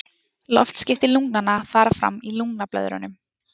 Loftskipti lungnanna fara fram í lungnablöðrunum.